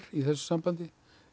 í þessu sambandi